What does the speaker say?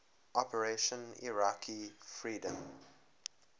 operation iraqi freedom